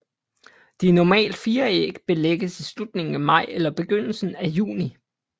De normalt fire æg lægges i slutningen af maj eller begyndelsen af juni